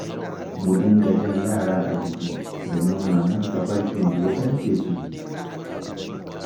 Mu dinga jan yara a jiki, da nuna musa tafarkin da ya dace su bi.